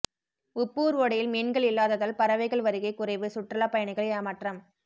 உப்பூர் ஓடையில் மீன்கள் இல்லாததால் பறவைகள் வருகை குறைவு சுற்றுலா பயணிகள் ஏமாற்றம்